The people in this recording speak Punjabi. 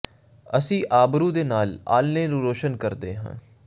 ਅਸੀਂ ਆਬਰੂ ਦੇ ਨਾਲ ਆਲ੍ਹਣੇ ਨੂੰ ਰੋਸ਼ਨ ਕਰਦੇ ਹਾਂ